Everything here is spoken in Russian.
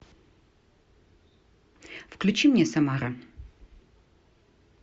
включи мне самара